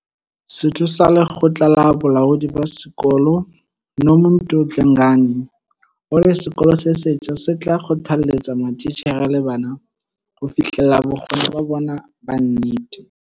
Setho sa lekgotla la bolaodi ba sekolo, Nomuntu Dlengane, o re sekolo se setjha se tla kgothaletsa matitjhere le bana ho fihlella bokgoni ba bona ba nnete.